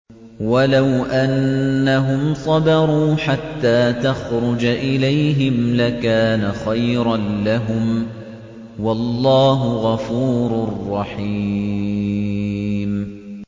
وَلَوْ أَنَّهُمْ صَبَرُوا حَتَّىٰ تَخْرُجَ إِلَيْهِمْ لَكَانَ خَيْرًا لَّهُمْ ۚ وَاللَّهُ غَفُورٌ رَّحِيمٌ